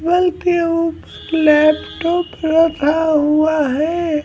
वेलक्यूब laptop रखा हुआ है।